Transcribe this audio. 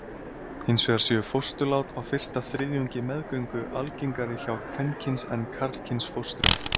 Hins vegar séu fósturlát á fyrsta þriðjungi meðgöngu algengari hjá kvenkyns en karlkyns fóstrum.